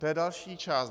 To je další část.